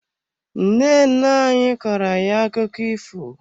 Nne nne anyị kọọro ayi akụkọ ifo.